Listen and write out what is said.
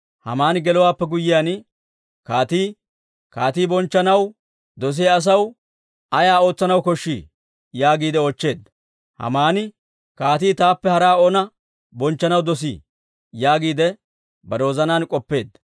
Haamani gelowaappe guyyiyaan kaatii, «Kaatii bonchchanaw dosiyaa asaw ay ootsanaw koshshii?» yaagiide oochcheedda. Hamaani, «Kaatii taappe haraa oona bonchchanaw dosii?» yaagiide bare wozanaan k'oppeedda.